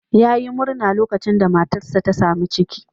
Yayi murna lokacin da matarsa ta sami ciki.